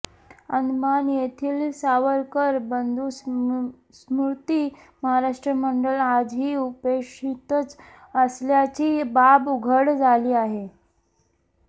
अंदमान येथील सावरकर बंधू स्मृती महाराष्ट्र मंडळ आजही उपेक्षितच असल्याची बाब उघड झाली आहे